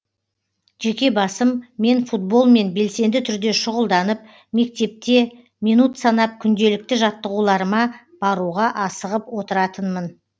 жеке басым мен футболмен белсенді түрде шұғылданып мектепте минут санап күнделікті жаттығуларыма баруға асығып отыратынмын